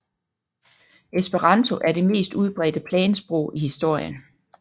Esperanto er det mest udbredte plansprog i historien